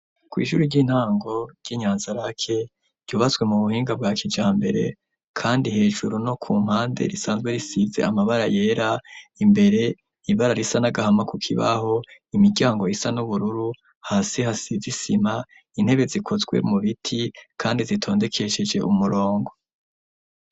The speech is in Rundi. kw'ishure ry'intango ryi nyanza lac ryubaswe mu buhinga bwa kijambere kandi hejuru no ku mpande risanzwe risize amabara yera imbere ibara risa nagahama ku kibaho imiryango isa n'ubururu hasi hasize isima intebe zikoswe mu biti kandi zitondekesheje umurongo.